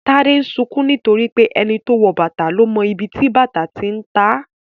Tade ń sunkún nítorí pé "ẹni tó wọ bàtà ló mọ ibi tó ti ń ta á "